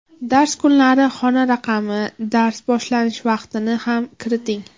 Dars kunlari, xona raqami, dars boshlanish vaqtini ham kiriting.